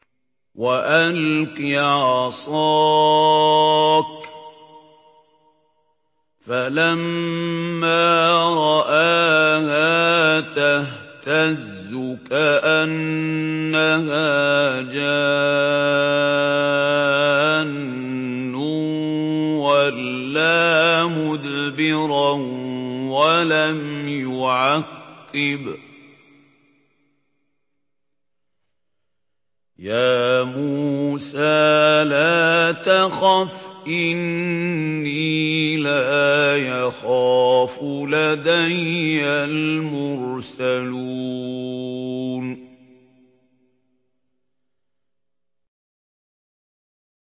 وَأَلْقِ عَصَاكَ ۚ فَلَمَّا رَآهَا تَهْتَزُّ كَأَنَّهَا جَانٌّ وَلَّىٰ مُدْبِرًا وَلَمْ يُعَقِّبْ ۚ يَا مُوسَىٰ لَا تَخَفْ إِنِّي لَا يَخَافُ لَدَيَّ الْمُرْسَلُونَ